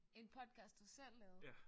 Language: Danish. En podcast du selv lavede